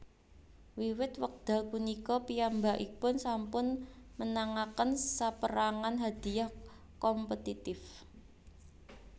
Wiwit wekdal punika piyambakipun sampun menangaken sapérangan hadhiah kompetitif